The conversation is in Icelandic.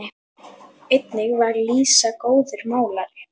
Einnig var Lísa góður málari.